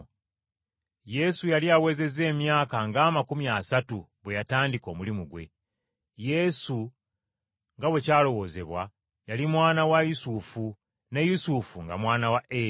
Yesu yali awezezza emyaka ng’amakumi asatu bwe yatandika omulimu gwe. Yesu nga bwe kyalowoozebwa, yali mwana wa Yusufu: ne Yusufu nga mwana wa Eri,